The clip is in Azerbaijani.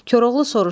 Koroğlu soruşdu: